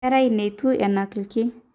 inkera neitu enak irki